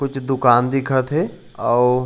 कुछ दुकान दिखा थे अऊ--